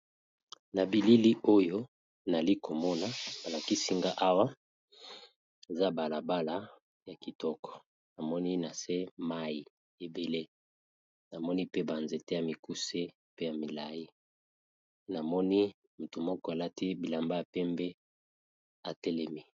Na bilili oyo nazali komona balakisinga awa eza balabala ya kitoko, na se mai ebele namoni pe ba nzete ya mikuse pe ya milai namoni moto moko alati elamba ya pembe atelemi.